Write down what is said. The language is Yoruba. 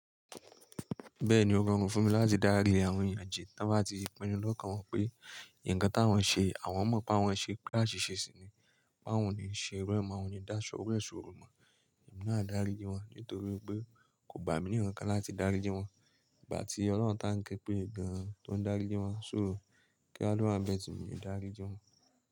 Bẹ́ẹ̀ni ó rọrùn fún mi láti darí àwọn ìyànjẹ táa bá ti pinu lọ́kàn wọn pé nǹkan táwọn ṣe àwọn mọ̀ pé àwọn ṣe pé àṣìṣe sì ni. Báwo ni ṣe rọ́mọ? Àwọn ni dáṣọ́wọ́ èso rọ̀mọ̀. Èmi náà darí gi wọn nítorí pé kò bá mi ní ǹkan láti darí jin wọn. Ìgbà tí Ọlọ́run tá nkẹ́ pé gan-an, tó ń darí gi wọn só̀rò kí á ló wàbẹ tì mí darí gi wọn.